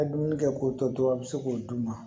A ye dumuni kɛ k'o tɔ to to a bɛ se k'o d'u ma